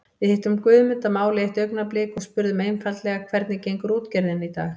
Við hittum Guðmund að máli eitt augnablik og spurðum einfaldlega hvernig gengur útgerðin í dag?